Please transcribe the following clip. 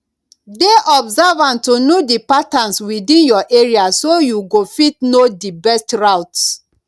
dey observant to know di patterns within your area so you go fit know di best routes